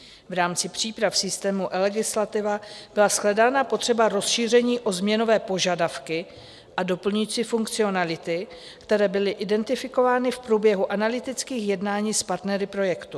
V rámci příprav systému eLegislativa byla shledána potřeba rozšíření o změnové požadavky a doplňující funkcionality, které byly identifikovány v průběhu analytických jednání s partnery projektu.